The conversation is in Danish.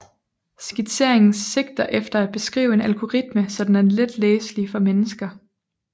Skitseringen sigter efter at beskrive en algoritme så den er let læselig for mennesker